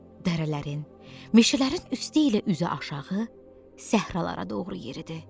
Dərələrin, meşələrin üstü ilə üzü aşağı səhralara doğru yeridi.